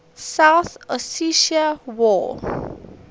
south ossetia war